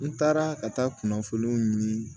N taara ka taa kunnafoniw ɲini